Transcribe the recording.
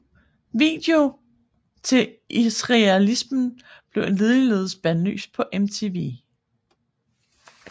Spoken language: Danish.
Videoen til Israelism blev ligeledes bandlyst på MTV